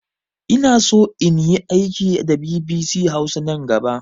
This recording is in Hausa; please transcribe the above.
Inaso inyi aiki da bibisi hausa nan gaba